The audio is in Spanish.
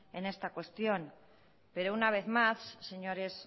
en esta cuestión pero una vez más señores